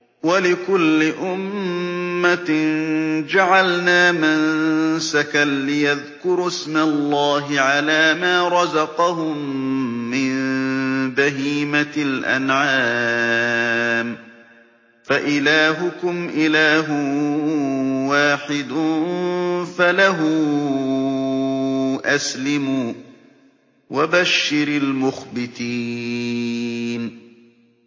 وَلِكُلِّ أُمَّةٍ جَعَلْنَا مَنسَكًا لِّيَذْكُرُوا اسْمَ اللَّهِ عَلَىٰ مَا رَزَقَهُم مِّن بَهِيمَةِ الْأَنْعَامِ ۗ فَإِلَٰهُكُمْ إِلَٰهٌ وَاحِدٌ فَلَهُ أَسْلِمُوا ۗ وَبَشِّرِ الْمُخْبِتِينَ